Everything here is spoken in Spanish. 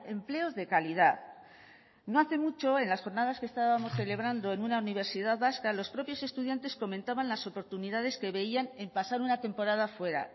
empleos de calidad no hace mucho en las jornadas que estábamos celebrando en una universidad vasca los propios estudiantes comentaban las oportunidades que veían en pasar una temporada fuera